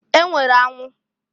E nwere anwụ.